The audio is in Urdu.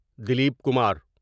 دلیپ کمار